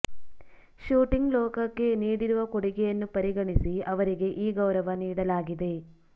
shooting ಲೋಕಕ್ಕೆ ನೀಡಿರುವ ಕೊಡುಗೆಯನ್ನು ಪರಿಗಣಿಸಿ ಅವರಿಗೆ ಈ ಗೌರವ ನೀಡಲಾಗಿದೆ